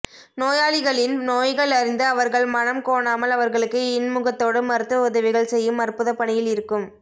நோயாளிகளின் நோய்கள் அறிந்து அவர்கள் மனம் கோனாமல் அவர்களுக்கு இன்முகத்தோடு மருத்துவ உதவிகள் செய்யும் அற்புத பணியில் இருக்கும்